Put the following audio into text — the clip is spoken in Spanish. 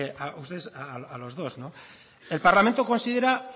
a ustedes a los dos el parlamento considera